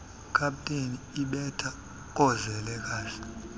kapeteni ibetha koozelekazi